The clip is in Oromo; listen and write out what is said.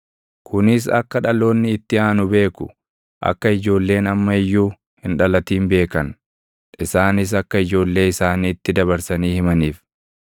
kunis akka dhaloonni itti aanu beeku, akka ijoolleen amma iyyuu hin dhalatin beekan, isaanis akka ijoollee isaaniitti dabarsanii himaniif.